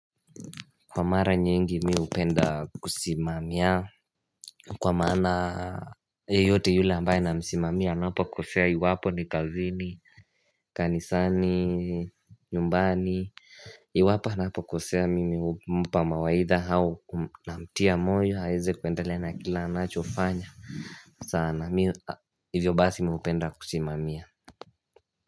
Kwa mara nyingi mimi hupenda kusimamia Kwa maana yeyote yule ambaye namsimamia anapokosea iwapo ni kazini, kanisani, nyumbani Iwapo anapokosea mimi humpa mawaidha au namtia moyo aweze kuendelea na kila anachofanya sana, hivyo basi mimi hupenda kusimamia.